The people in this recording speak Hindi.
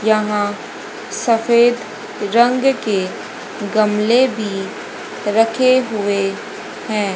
यहां सफेद रंग के गमले भी रखे हुए हैं।